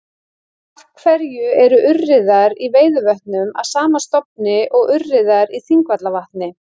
Af hverju eru urriðar í Veiðivötnum af sama stofni og urriðar í Þingvallavatni?